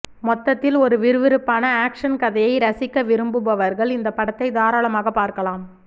மொத்தத்தில் ஒரு விறுவிறுப்பான ஆக்சன் கதையை ரசிக்க விரும்புபவர்கள் இந்த படத்தை தாராளமாக பார்க்கலாம்